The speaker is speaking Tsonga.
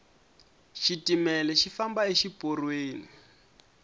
xitimele xi famba exi porweni